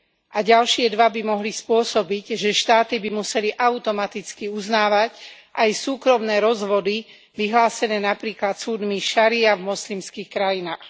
A ďalšie dva by mohli spôsobiť, že štáty by museli automaticky uznávať aj súkromné rozvody vyhlásené napríklad súdmi šaría v moslimských krajinách.